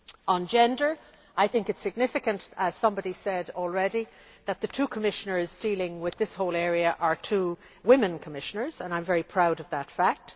On gender I think it is significant, as somebody has already said, that the two Commissioners dealing with this whole area are two women Commissioners and I am very proud of that fact.